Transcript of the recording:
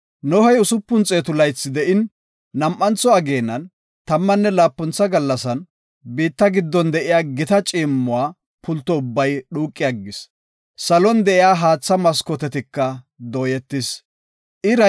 Nohey usupun xeetu laythi de7in, nam7antho ageenan, tammanne laapuntha gallasan, biitta giddon de7iya gita ciimmuwa pulto ubbay dhuuqi aggis. Salon de7iya haatha maskooteti dooyetidosona.